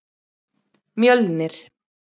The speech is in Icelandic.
Mjölnir